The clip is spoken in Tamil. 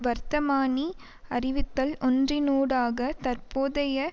வர்த்தமானி அறிவித்தல் ஒன்றினூடாக தற்போதைய